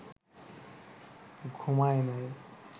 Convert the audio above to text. ঘুমায় নাই